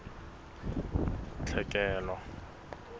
tlhekelo